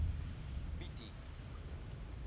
pieti